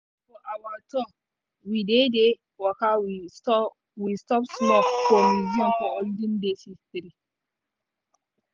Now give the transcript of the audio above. for our tour wey we dey waka we stop small for museum of olden days history.